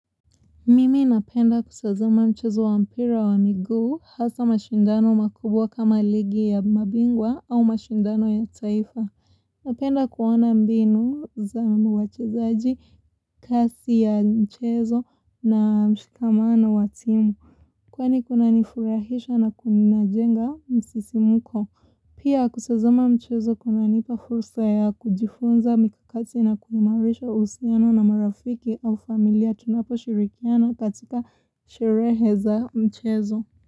Mimi napenda kutazama mchezo wa mpira wa miguu hasa mashindano makubwa kama ligi ya mabingwa au mashindano ya taifa. Napenda kuona mbinu za wachezaji, kasi ya mchezo na mshikamano wa timu. Kwani kunanifurahisha na kunajenga msisimko. Pia kutazama mchezo kunanipa fursa ya kujifunza mikakati na kuimarisha uhusiano na marafiki au familia tunaposhirikiana katika sherehe za mchezo.